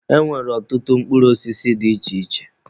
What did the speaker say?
E nwere ọtụtụ mkpụrụ osisi dị iche iche.